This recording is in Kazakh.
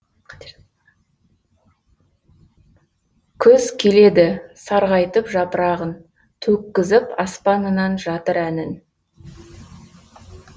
күз келеді сарғайтып жапырағын төккізіп аспанынан жатыр әнін